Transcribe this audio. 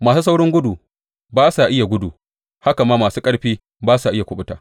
Masu saurin gudu ba sa iya gudu haka ma masu ƙarfi ba sa iya kuɓuta.